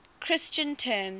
christian terms